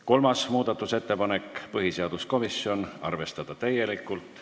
Kolmas muudatusettepanek on põhiseaduskomisjonilt, arvestada täielikult.